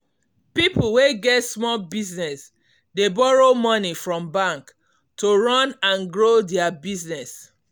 people wey get small business dey borrow money from bank to run and grow their business.